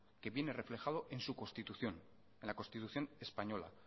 que viene reflejado en su constitución en la constitución española